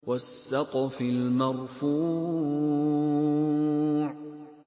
وَالسَّقْفِ الْمَرْفُوعِ